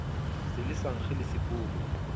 se le sa nkge leseporo